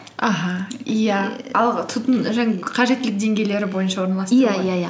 аха иә қажеттілік деңгейлері бойынша орналастыру иә